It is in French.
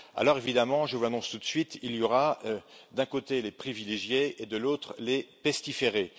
Alors, évidemment, je vous l'annonce tout de suite, il y aura d'un côté les privilégiés et de l'autre les pestiférés.